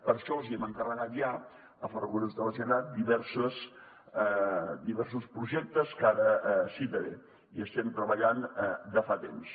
per això els hem encarregat ja a ferrocarrils de la generalitat diversos projectes que ara citaré i hi estem treballant de fa temps